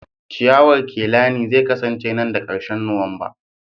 ciyawar kelani zai kasance nan da ƙarshen Nuwamba